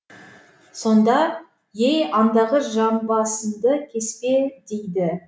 сонда ей андағы жамбасыңды кеспе дейді